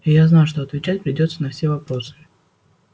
я знал что отвечать придётся на все вопросы